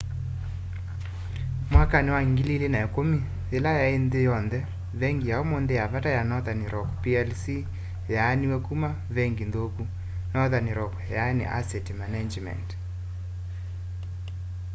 mwakani wa 2010 yila yai ya nthi yonthe vengi ya umunthi ya vata ya northern rock plc yaaniw'e kuma vengi nthuku” northern rock asset management